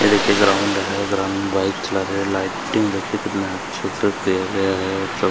ये देखिए ग्राउंड है ग्राउंड में बाइक चला रहे है लाइटिंग देखिए कितनी अच्छी तरह किया गया है और स--